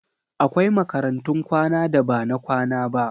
Akwai makarantun kwana da ba na kwana ba.